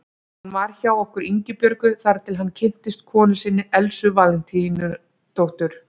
Hann var hjá okkur Ingibjörgu þar til hann kynntist konu sinni, Elsu Valentínusdóttur.